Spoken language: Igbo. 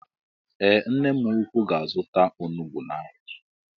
Ee nne mụ ụkwụ ga-azuta ọnụgbu n' áhiá.